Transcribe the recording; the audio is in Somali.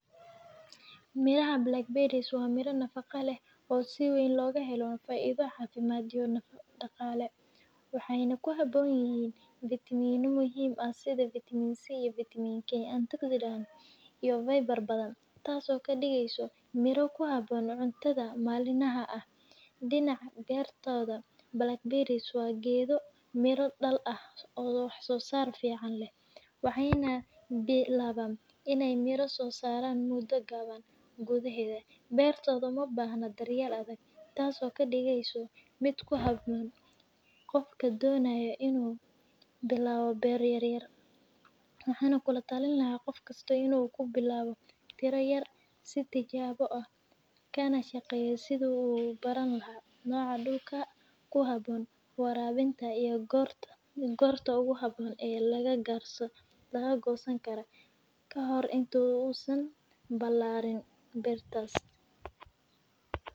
Mirahan birsoh wa miro nafaqa lah si wan loga helo faido cafimad iyo nafaqa daqala waxay ku habonyin vitiminyoyin sida vitiman c iyo vitiman k iyo viber badan taas oo ka digysoh miro ku habon cuntada malin laha ah, dinac bartada balag barisoh gado miro miro dal ah, oo wax sosarka fican lah, waxay nah laa baan inay miro sosaran muda gawan, guda hada bartada ma ubahno daryal adag taaas oo ka digsoh mid ku habon, qofka dinayoh inu bilawo bar yar yar, waxah kula talini lahay qofkasto inu ku nilawo, tira yar sii tijawa oo ah kana shaqayoh sida u ubarani lahay noca dulka, ku habon warawinta iyo gorta gorta ogu habon aa laga gosanikaro ka hore intu uu saan bilawin bartas.